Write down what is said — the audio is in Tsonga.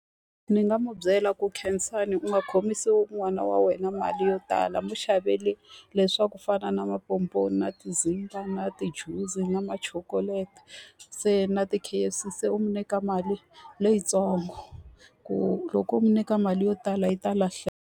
Ndzi nga mu byela ku Khensani u nga khomisi n'wana wa wena mali yo tala, n'wi xavele le swa ku fana na na tizimba, na ti-juice, na ma-chocolate se na ti-K_F_C. Se u n'wi nyika mali leyitsongo ku loko n'wi nyika mali yo tala yi ta lahleka.